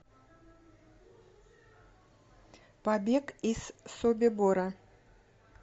побег из собибора